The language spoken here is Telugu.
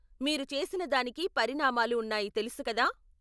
మీరు చేసిన దానికి పరిణామాలు ఉన్నాయి తెలుసు కదా .